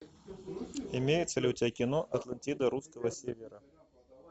имеется ли у тебя кино атлантида русского севера